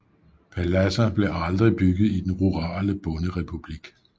Paladser blev aldrig bygget i den rurale bonderepublik